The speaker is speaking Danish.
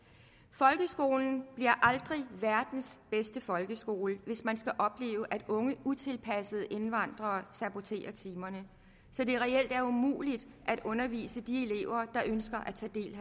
folkeskolen bliver aldrig verdens bedste folkeskole hvis man skal opleve at unge utilpassede indvandrere saboterer timerne så det reelt er umuligt at undervise de elever der ønsker